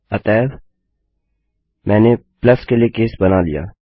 अतैव मैंने प्लस के लिए केस बना लिया